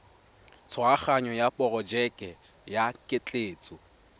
tshwaraganyo ya porojeke ya ketleetso